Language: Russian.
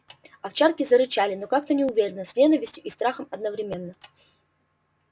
овчарки зарычали но как-то неуверенно с ненавистью и страхом одновременно